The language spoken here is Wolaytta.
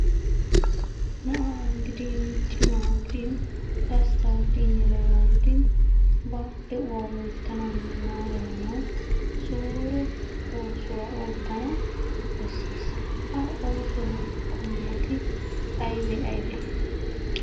Na'aa gidin cimaa gidin gasttaa gidin yelegaa gidin ba de"uwaa loyttanawunne maarayanawu suure oosuwa oottana besses. Ha oosuwa qommoti aybe aybee?